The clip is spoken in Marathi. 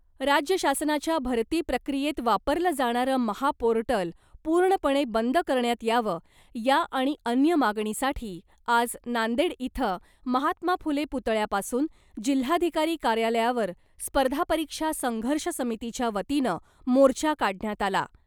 राज्य शासनाच्या भरती प्रक्रियेत वापरलं जाणारं महापोर्टल पूर्णपणे बंद करण्यात यावं , या आणि अन्य मागणीसाठी आज नांदेड इथं महात्मा फुले पुतळ्यापासून , जिल्हाधिकारी कार्यालयावर स्पर्धा परीक्षा संघर्ष समितीच्या वतीनं मोर्चा काढण्यात आला .